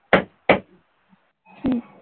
হম